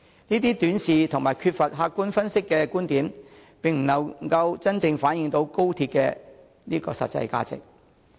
這種短視和缺乏客觀分析的觀點，並不能真正反映高鐵的實際價值。